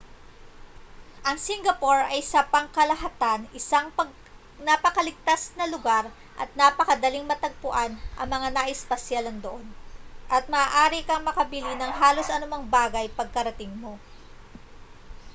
ang singapore ay sa pangkalahatan isang napakaligtas na lugar at napakadaling matagpuan ang mga nais pasyalan doon at maaari kang makabili ng halos anumang bagay pagkarating mo